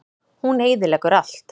Hún eyðileggur allt.